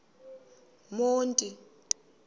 monti